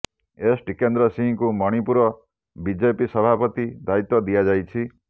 S Tikendra ସିଂହଙ୍କୁ Manipur BJP ସଭାପତି ଦାୟିତ୍ବ ଦିଆଯାଇଛି